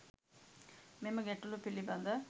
මෙම ගැටලු පිළිබඳ